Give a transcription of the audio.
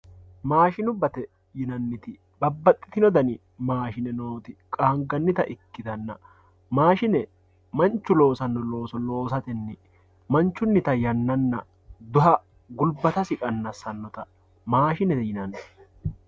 maashinubbate yinanniti babbaxxitino dani maashine nooti qaangannita ikkitanna maashine manchu loosanno looso loosatenni manchunnita yannanna duha gulbatasi qannassannota maashinete yinanni